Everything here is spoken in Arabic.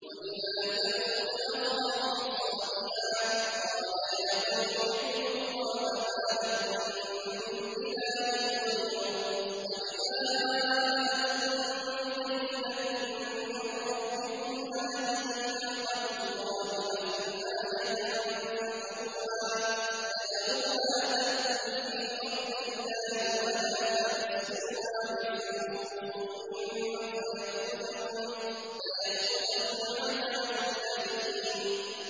وَإِلَىٰ ثَمُودَ أَخَاهُمْ صَالِحًا ۗ قَالَ يَا قَوْمِ اعْبُدُوا اللَّهَ مَا لَكُم مِّنْ إِلَٰهٍ غَيْرُهُ ۖ قَدْ جَاءَتْكُم بَيِّنَةٌ مِّن رَّبِّكُمْ ۖ هَٰذِهِ نَاقَةُ اللَّهِ لَكُمْ آيَةً ۖ فَذَرُوهَا تَأْكُلْ فِي أَرْضِ اللَّهِ ۖ وَلَا تَمَسُّوهَا بِسُوءٍ فَيَأْخُذَكُمْ عَذَابٌ أَلِيمٌ